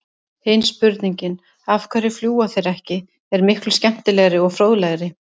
Hin spurningin, af hverju fljúga þeir ekki, er miklu skemmtilegri og fróðlegri!